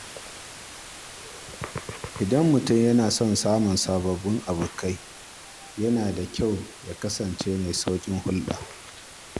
Idan mutum yana son samun sababbin abokai, yana da kyau ya kasance mai sauƙin hulɗa.